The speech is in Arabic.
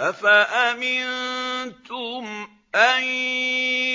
أَفَأَمِنتُمْ أَن